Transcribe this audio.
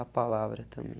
A palavra também.